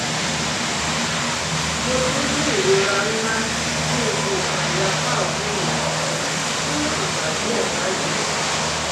mo ti n ni irora nla ni igun isale apa ọtun mi fun igba diẹ bayi